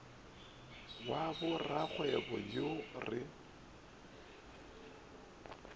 wa ba rakgwebo yo re